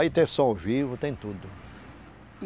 Aí tem som vivo, tem tudo.